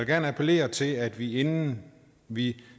gerne appellere til at vi inden vi